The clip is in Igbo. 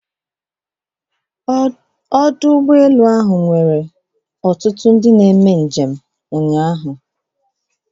Ọdụ ụgbọ elu ahụ na-edozi ọnụ ọgụgụ dị elu nke ndị njem ụnyaahụ.